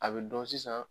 A bɛ dɔn sisan